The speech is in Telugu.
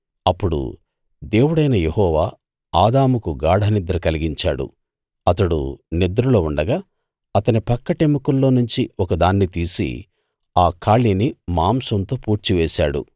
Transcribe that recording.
అప్పుడు దేవుడైన యెహోవా ఆదాముకు గాఢ నిద్ర కలిగించాడు అతడు నిద్రలో ఉండగా అతని పక్కటెముకల్లో నుంచి ఒకదాన్ని తీసి ఆ ఖాళీని మాంసంతో పూడ్చివేశాడు